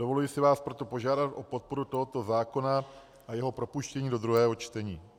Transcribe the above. Dovoluji si vás proto požádat o podporu tohoto zákona a jeho propuštění do druhého čtení.